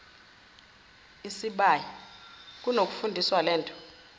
isibaya kunokufundisa lento